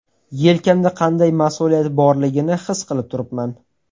Yelkamda qanday mas’uliyat borligini his qilib turibman.